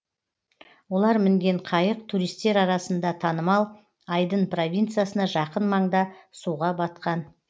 олар мінген қайық туристер арасында танымал айдын провинциясына жақын маңда суға батқан